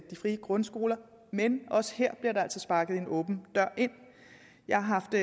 frie grundskoler men også her bliver der altså sparket en åben dør ind jeg har haft